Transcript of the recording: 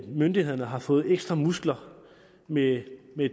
myndighederne har fået ekstra muskler med